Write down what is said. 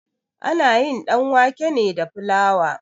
Ana yin ɗanwake ne da flawa.